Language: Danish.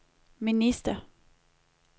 minister